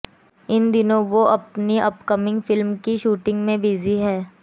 इन दिनों वो अपनी अपकमिंग फिल्म की शूटिंग में बिजी हैं